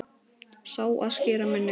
Sá, að skera niður.